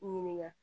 Ɲininka